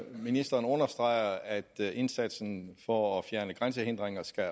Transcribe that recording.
ministeren understreger at indsatsen for at fjerne grænsehindringer skal